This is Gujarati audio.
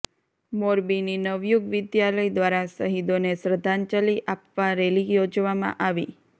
મોરબીની નવયુગ વિધાલય દ્વારા શહીદોને શ્રદ્ધાંજલિ આપવા રેલી યોજવામાં આવી